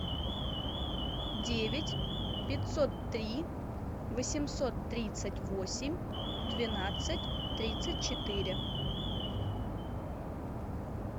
девять пятьсот три восемьсот тридцать восемь двенадцать тридцать четыре